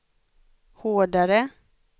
hårdare